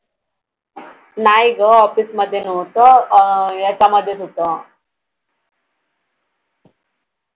नाही गं office मध्ये नव्हतं अं याच्या मधेच होतं